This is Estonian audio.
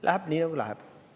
Läheb nii, nagu läheb.